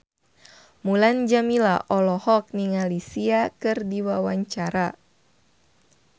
Mulan Jameela olohok ningali Sia keur diwawancara